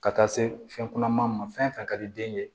Ka taa se fɛn kunaman ma fɛn fɛn ka di den ye